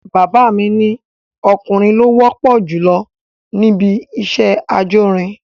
Bàbá mi ni ọkùnrin ló wọ́pọ̀ jùlọ níbi iṣẹ́ ajórin